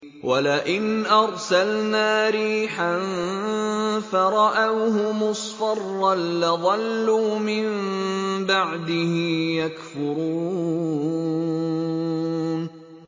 وَلَئِنْ أَرْسَلْنَا رِيحًا فَرَأَوْهُ مُصْفَرًّا لَّظَلُّوا مِن بَعْدِهِ يَكْفُرُونَ